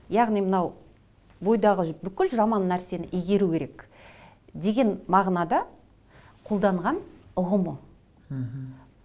яғни мынау бойдағы бүкіл жаман нәрсені игеру керек деген мағынада қолданған ұғымы мхм